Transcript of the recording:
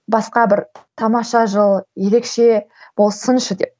басқа бір тамаша жыл ерекше болсыншы деп